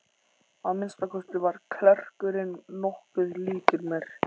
Að minnsta kosti var klerkurinn nokkuð líkur mér.